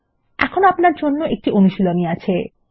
এখন আপনার জন্য একটি অনুশীলনী আছে